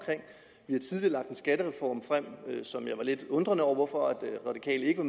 vi har tidligere lagt en skattereform frem som jeg var lidt undrende over hvorfor de radikale ikke